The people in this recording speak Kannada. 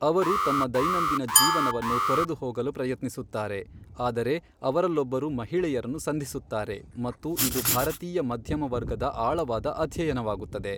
ಅವರು ತಮ್ಮ ದೈನಂದಿನ ಜೀವನವನ್ನು ತೊರೆದು ಹೋಗಲು ಪ್ರಯತ್ನಿಸುತ್ತಾರೆ, ಆದರೆ ಅವರಲ್ಲೊಬ್ಬರು ಮಹಿಳೆಯರನ್ನು ಸಂಧಿಸುತ್ತಾರೆ, ಮತ್ತು ಇದು ಭಾರತೀಯ ಮಧ್ಯಮ ವರ್ಗದ ಆಳವಾದ ಅಧ್ಯಯನವಾಗುತ್ತದೆ.